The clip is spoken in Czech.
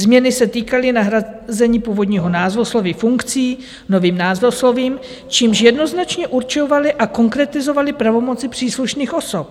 Změny se týkaly nahrazení původního názvosloví funkcí novým názvoslovím, čímž jednoznačně určovaly a konkretizovaly pravomoci příslušných osob.